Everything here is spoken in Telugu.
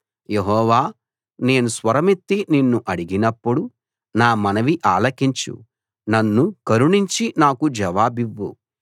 యెహోవా నేను స్వరమెత్తి నిన్ను అడిగినప్పుడు నా మనవి ఆలకించు నన్ను కరుణించి నాకు జవాబివ్వు